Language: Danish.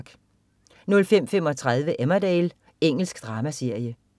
05.35 Emmerdale. Engelsk dramaserie